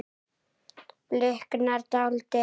Bliknar dáldið.